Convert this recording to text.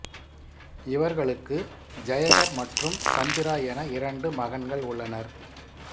இவர்களுக்கு ஜெயகர் மற்றும் சந்திரா என இரண்டு மகன்கள் உள்ளனர்